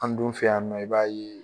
An dun fɛ yan nɔ i b'a ye